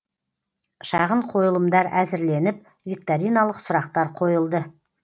шағын қойылымдар әзірленіп викториналық сұрақтар қойылды